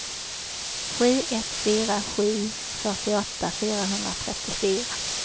sju ett fyra sju fyrtioåtta fyrahundratrettiofyra